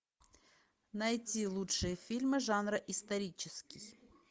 найти лучшие фильмы жанра исторический